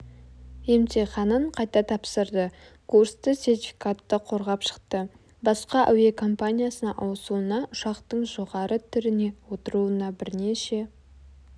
емтиханын қайта тапсырды курсты сертификатты қорғап шықты басқа әуекомпаниясына ауысуына ұшақтың жоғары түріне отыруына бірнеше